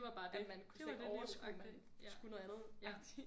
At man kunne slet ikke overskue at man skulle noget andet agtigt